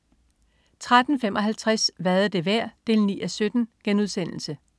13.55 Hvad er det værd? 9:17*